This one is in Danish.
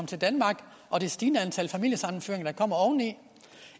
til danmark og det stigende antal familiesammenføringer der kommer oveni